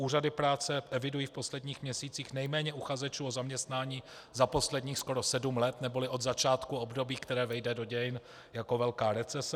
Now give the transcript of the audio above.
Úřady práce evidují v posledních měsících nejméně uchazečů o zaměstnání za posledních skoro sedm let, neboli od začátku období, které vejde do dějin jako velká recese.